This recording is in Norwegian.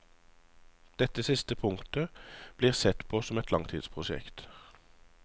Dette siste punktet blir sett på som et langtidsprosjekt.